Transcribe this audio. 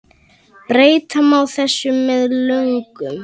Breyta má þessu með lögum